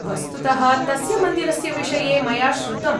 वस्तुतः, तस्य मन्दिरस्य विषये मया श्रुतम्।